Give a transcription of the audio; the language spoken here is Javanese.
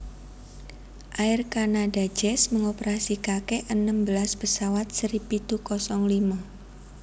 Air Canada Jazz mengoperasikake enem belas pesawat seri pitu kosong limo